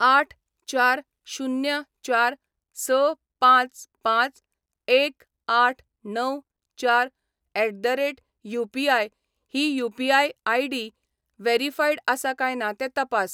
आठ चार शुन्य चार स पांच पांच एक आठ णव चार एट द रेट युपीआय ही यू.पी.आय. आय.डी. व्हेरीफाईड आसा काय ना तें तपास.